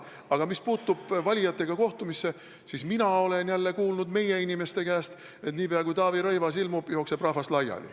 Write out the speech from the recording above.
Aga mis puutub valijatega kohtumisse, siis mina olen jälle kuulnud meie inimeste käest, et niipea kui Taavi Rõivas kohale ilmub, jookseb rahvas laiali.